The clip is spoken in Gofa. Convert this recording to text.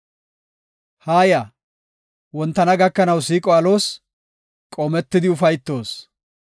Haaya; wontana gakanaw siiqo aloos; qoometidi ufaytoos.